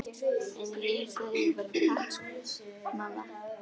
En ég sagði bara: Takk mamma.